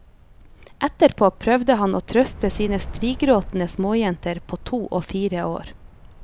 Etterpå prøvde han å trøste sine strigråtende småjenter på to og fire år.